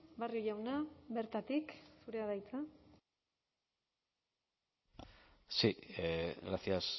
barrio jauna bertatik zurea da hitza sí gracias